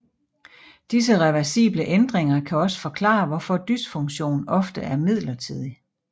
Disse reversible ændringer kan også forklare hvorfor dysfunktion ofte er midlertidig